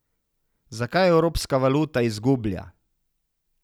Zakaj evropska valuta izgublja?